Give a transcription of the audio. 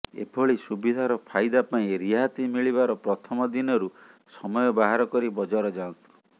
ଏ ଭଳି ସୁବିଧାର ଫାଇଦା ପାଇଁ ରିହାତି ମିଳିବାର ପ୍ରଥମ ଦିନରୁ ସମୟ ବାହାର କରି ବଜାର ଯାଆନ୍ତୁ